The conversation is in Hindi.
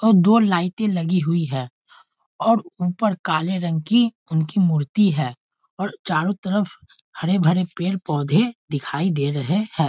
और दो लाइटें लगी हुई है और ऊपर काले रंग की उनकी मूर्ति है और चारों तरफ हरे-भरे पेड़-पौधे दिखाई दे रहे है।